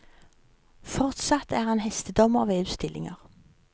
Fortsatt er han hestedommer ved utstillinger.